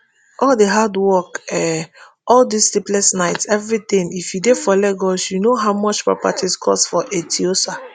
all di hard work um all di sleepless nights everytin if you dey for lagos you know how much property cost for eti osa